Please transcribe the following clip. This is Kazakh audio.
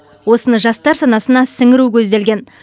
осыны жастар санасына сіңіру көзделген